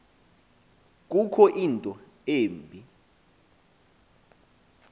kukho into embi